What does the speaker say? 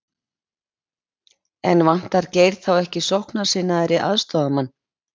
En vantar Geir þá ekki sóknarsinnaðri aðstoðarmann?